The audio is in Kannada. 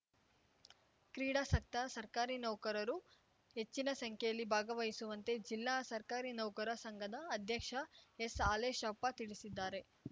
ಕ್ರೀಡಾಸಕ್ತ ಸರ್ಕಾರಿ ನೌಕರರು ಹೆಚ್ಚಿನ ಸಂಖ್ಯೆಯಲ್ಲಿ ಭಾಗವಹಿಸುವಂತೆ ಜಿಲ್ಲಾ ಸರ್ಕಾರಿ ನೌಕರರ ಸಂಘದ ಅಧ್ಯಕ್ಷ ಎಸ್‌ಹಾಲೇಶಪ್ಪ ತಿಳಿಸಿದ್ದಾರೆ